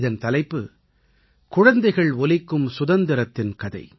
இதன் தலைப்பு குழந்தைகள் ஒலிக்கும் சுதந்திரத்தின் கதை